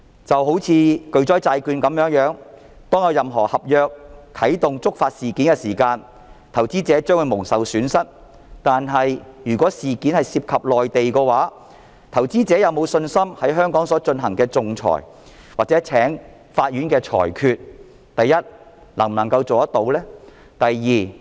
就像巨災債券，當有任何能觸發合約條文啟動的事件，投資者將會蒙受損失，但如果事件涉及內地的話，投資者有否信心在香港所進行的仲裁或法院的裁決，第一，能達成裁決？